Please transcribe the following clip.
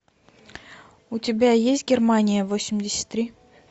у тебя есть германия восемьдесят три